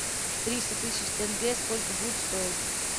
триста тысяч тенге сколько будет стоить